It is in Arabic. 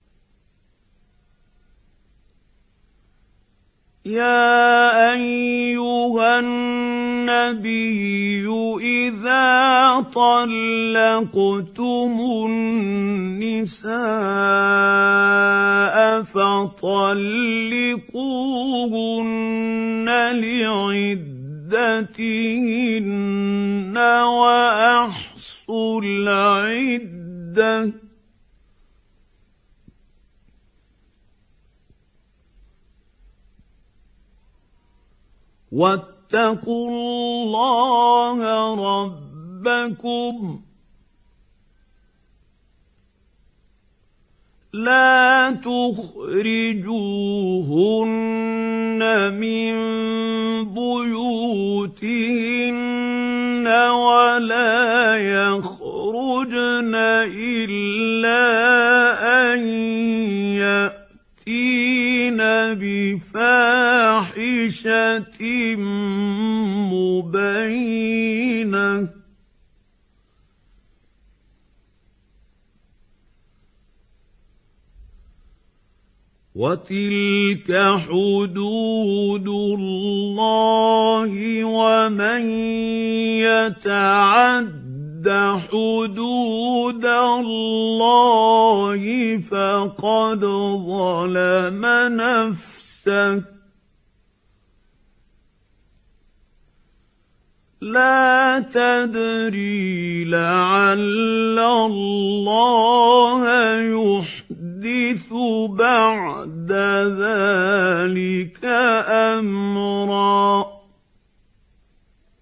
يَا أَيُّهَا النَّبِيُّ إِذَا طَلَّقْتُمُ النِّسَاءَ فَطَلِّقُوهُنَّ لِعِدَّتِهِنَّ وَأَحْصُوا الْعِدَّةَ ۖ وَاتَّقُوا اللَّهَ رَبَّكُمْ ۖ لَا تُخْرِجُوهُنَّ مِن بُيُوتِهِنَّ وَلَا يَخْرُجْنَ إِلَّا أَن يَأْتِينَ بِفَاحِشَةٍ مُّبَيِّنَةٍ ۚ وَتِلْكَ حُدُودُ اللَّهِ ۚ وَمَن يَتَعَدَّ حُدُودَ اللَّهِ فَقَدْ ظَلَمَ نَفْسَهُ ۚ لَا تَدْرِي لَعَلَّ اللَّهَ يُحْدِثُ بَعْدَ ذَٰلِكَ أَمْرًا